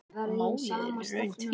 Málið er í raun tvíþætt.